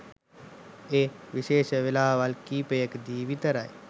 එත් විශේෂ වෙලාවල් කීපයකදී විතරයි